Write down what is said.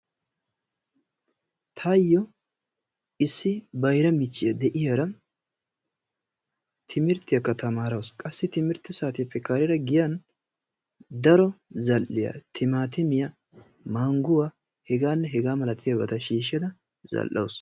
Tayo issi bayraa michchiyaa dei'ayara timirttiyaka tamaarawusu. Qassi timirtte saatiyappe karera giyan daro zal'iya timatimiyaa, mangguwaa h.h.m shiishada zal'awusu.